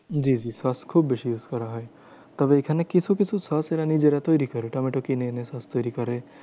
জি জি সস খুব বেশি use করা হয়। তবে এখানে কিছু কিছু সস এরা নিজেরা তৈরী করে। টমেটো কিনে এনে সস তৈরী করে।